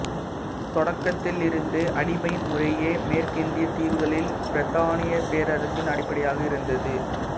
தொடக்கத்திலிருந்தே அடிமை முறையே மேற்கிந்தியத் தீவுகளில் பிரித்தானியப் பேரரசின் அடிப்படையாக இருந்தது